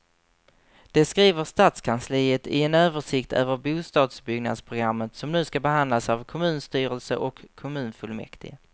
Det skriver stadskansliet i en översikt över bostadsbyggnadsprogrammet som nu ska behandlas av kommunstyrelse och kommunfullmäktige.